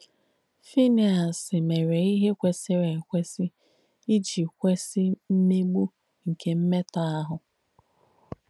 Fínèàs mèré íhe kwèsìrī èkwēsì ìjì kwèsì mmègbù nkè mmètọ̀ àhù.